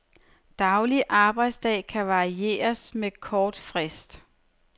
Daglig arbejdsdag kan varieres med kort frist.